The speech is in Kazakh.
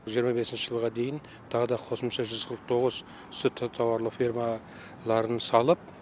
жиырма бесінші жылға дейін тағы да қосымша жүз қырық тоғыз сүтті тауарлы фермаларын салып